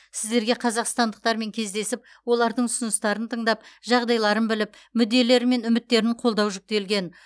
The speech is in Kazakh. сіздерге қазақстандықтармен кездесіп олардың ұсыныстарын тыңдап жағдайларын біліп мүдделері мен үміттерін қолдау жүктелген